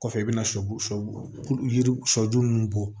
Kɔfɛ i bɛna shɛ sɔ yiri sɔ ju bɔ